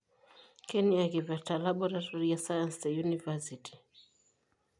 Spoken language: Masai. Keniaa kiprta laboratory e science te unifasiti?